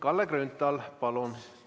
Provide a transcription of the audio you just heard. Kalle Grünthal, palun!